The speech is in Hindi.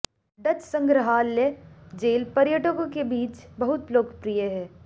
डच संग्रहालय जेल पर्यटकों के बीच बहुत लोकप्रिय है